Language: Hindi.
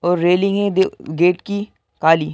और रेलिंग है देउ गेट की काली --